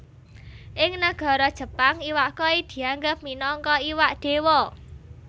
Ing nagara Jepang iwak koi dianggep minangka iwak Déwa